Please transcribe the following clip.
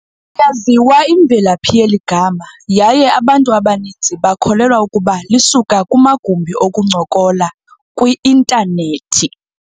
yaziwa imvelaphi yeli gama, yaye abantu abaninzi bakholelwa ukuba lisuka kumagumbi okuncokola kwi-Internet.